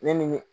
Ne ni